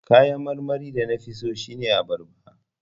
Kayan marmarin da na fi so shine abarba.